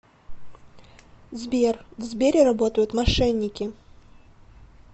сбер в сбере работают мошенники